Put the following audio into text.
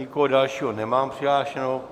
Nikoho dalšího nemám přihlášeného.